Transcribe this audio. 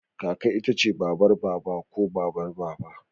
Kaka ita ce babar Baba ko Babar Baba.